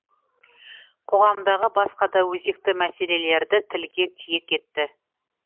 қоғамдағы басқа да өзекті мәселелерді тілге тиек етті